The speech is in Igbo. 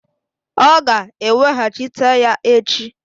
Ọ ga-eweghachita ya echi.